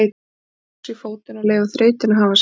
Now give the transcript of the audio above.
Stíga loks í fótinn og leyfa þreytunni að hafa sinn gang.